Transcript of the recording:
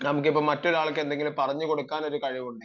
നമുക്ക് ഇപ്പോൾ മറ്റൊരാൾക്ക് എന്തെങ്കിലും പറഞ്ഞുകൊടുക്കാൻ കഴിവുണ്ടെങ്കിൽ